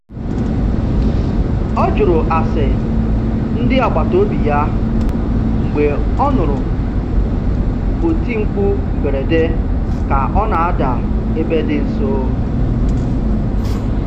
Ọ jụrụ ase ndị agbataobi ya mgbe ọ nụrụ oti mkpu mberede ka ọ na-ada ebe dị nso.